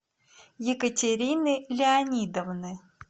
екатерины леонидовны